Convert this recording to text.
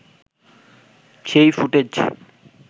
সেই ফুটেজ